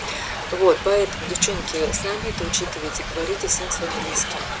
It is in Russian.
вот поэтому девчонки ээ с нами это учитывайте и говорите всем своим близким